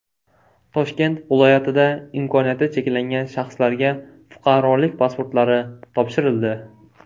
Toshkent viloyatida imkoniyati cheklangan shaxslarga fuqarolik pasportlari topshirildi.